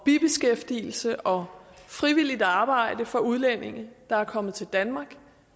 bibeskæftigelse og frivilligt arbejde for udlændinge der er kommet til danmark